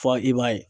Fɔ i b'a ye